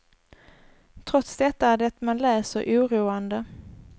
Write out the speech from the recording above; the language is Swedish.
Trots detta är det man läser oroande.